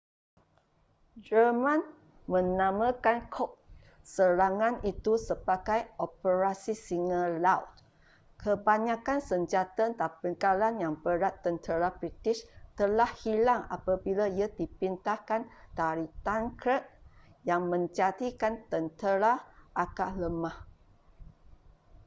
jerman menamakan kod serangan itu sebagai operasi singa laut kebanyakan senjata dan bekalan yang berat tentera british telah hilang apabila ia dipindahkan dari dunkirk yang menjadikan tentera agak lemah